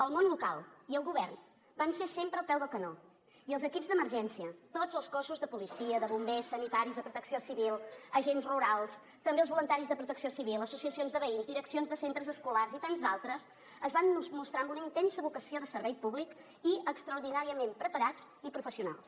el món local i el govern van ser sempre al peu del canó i els equips d’emergència tots els cossos de policia de bombers sanitaris de protecció civil agents rurals també els voluntaris de protecció civil associacions de veïns direccions de centres escolars i tants d’altres es van mostrar amb una intensa vocació de servei públic i extraordinàriament preparats i professionals